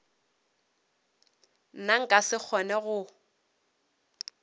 nna nka se kgone go